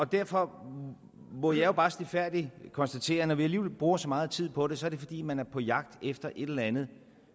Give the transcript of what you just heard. derfor må jeg bare stilfærdigt konstatere at når vi alligevel bruger så meget tid på det så er det fordi man er på jagt efter et eller andet